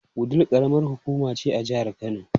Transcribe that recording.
Wudil karamar hukuma ce a jihar Kano.